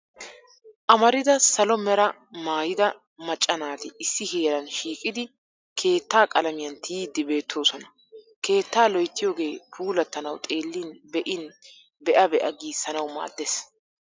Amarida salo meraa maayida macca naati issi heeran shiqidi keettaa qalamiyan tiyiiddi beettoosona. Keettaa loyttiyooge puulattanawu xeellin be'in be'a be'a giissanawu maaddes.